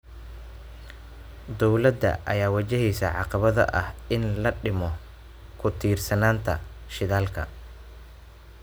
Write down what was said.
Dowladda ayaa wajaheysa caqabada ah in la dhimo ku tiirsanaanta shidaalka.